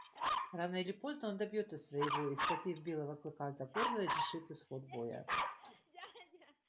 рано или поздно а он добьётся своего и схватив белого клыка за горло решит исход боя